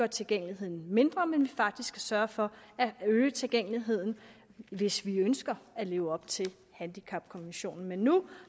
tilgængeligheden mindre men faktisk sørge for at øge tilgængeligheden hvis vi ønsker at leve op til handicapkonventionen men nu